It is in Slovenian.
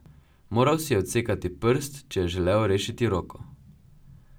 Moral si je odsekati prst, če je želel rešiti roko.